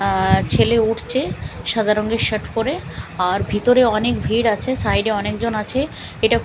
আঃ ছেলে উঠছে সাদা রঙের শার্ট পরে আর ভিতরে অনেক ভিড় আছে সাইড -এ অনেকজন আছে এটা--